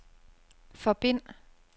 forbind